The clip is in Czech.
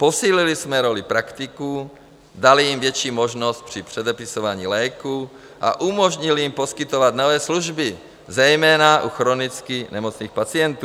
Posílili jsme roli praktiků, dali jim větší možnost při předepisování léků a umožnili jim poskytovat nové služby, zejména u chronicky nemocných pacientů.